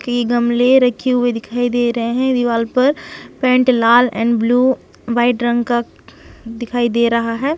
की गमले रखी हुई दिखाई दे रहे है दीवार पर पेण्ट लाल एंड ब्लू वाइट रंग का दिखाई दे रहा हैं।